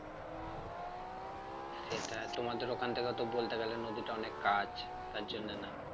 সেটা তোমাদের ওখান থেকে তো বলতে গেলে নদীটা অনেক কাজ তার জন্য না